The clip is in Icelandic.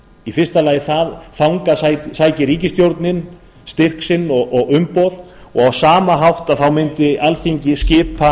í fyrsta lagi þangað sæki ríkisstjórnin styrk sinn og umboð og á sama hátt mundi alþingi skipa